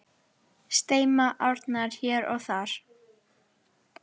Streyma árnar hér og þar.